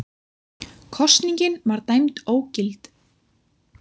Kosningin var dæmd ógild